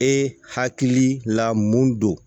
E hakili la mun don